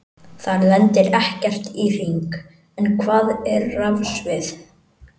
Þar lendir ekkert í hring, en hvað er rafsvið?